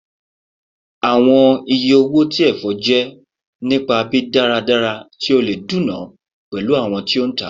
Awọn iye owo ti ẹfọ jẹ nipa bi daradara ti o le duna pẹlu awọn ti o ntaa